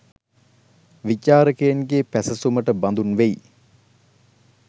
විචාරකයින්ගේ පැසසුමට බඳුන් වෙයි